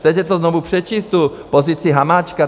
Chcete to znovu přečíst, tu pozici Hamáčka?